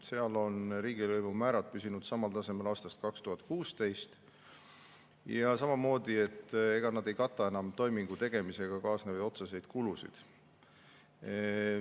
Seal on riigilõivumäärad püsinud samal tasemel aastast 2016, need samamoodi ei kata enam toimingu tegemisega kaasnevaid otseseid kulusid.